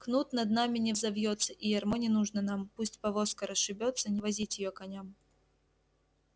кнут над нами не взовьётся и ярмо не нужно нам пусть повозка расшибётся не возить её коням